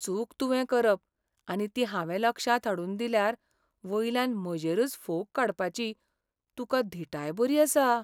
चूक तुवें करप आनी ती हांवें लक्षांत हाडून दिल्यार वयल्यान म्हजेरच फोग काडपाची तुकां धीटाय बरी आसा.